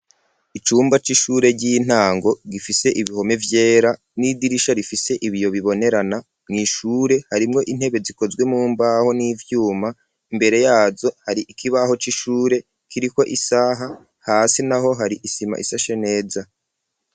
Icumba c'ishure ry'intango gifise ibihome vyera n'idirisha rifise ibiyo bibonerana mw'ishure harimwo intebe zikozwe mu mbaho n'ivyuma imbere yazo hari ikibaho c'ishure kiriko isaha hasi naho hari isima isashe neza.